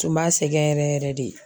Tun b'a sɛgɛn yɛrɛ yɛrɛ de